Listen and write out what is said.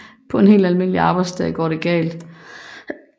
På en helt almindelig arbejdsdag går det galt